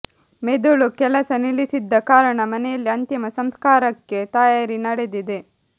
ಮೆದುಳು ಕೆಲಸ ನಿಲ್ಲಿಸಿದ್ದ ಕಾರಣ ಮನೆಯಲ್ಲಿ ಅಂತಿಮ ಸಂಸ್ಕಾರಕ್ಕೆ ತಯಾರಿ ನಡೆದಿದೆ